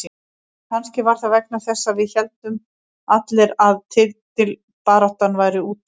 Kannski var það vegna þess að við héldum allir að titilbaráttan væri úti.